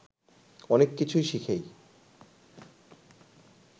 অনেক কিছু শিখেই